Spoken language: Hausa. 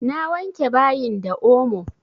Na wanke bayin da omo.